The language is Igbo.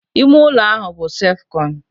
Ime ụlọ ahụ ọbụ sef kọn?